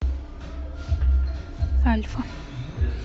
альфа